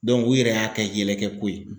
u yɛrɛ y'a kɛ yɛlɛkɛ ko ye